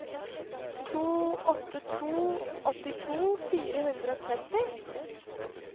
to åtte to to åttito fire hundre og tretti